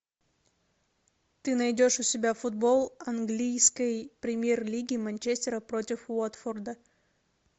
ты найдешь у себя футбол английской премьер лиги манчестера против уотфорда